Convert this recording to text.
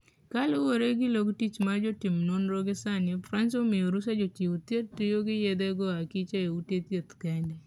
Kaluwore gi log tich mar jo timnonro gisani Frans omiyo rusa jo chiw thieth tiyogi yedhe go akicha e ute thieth kende.